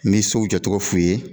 N bi sow jɔ tɔgɔ f'i ye.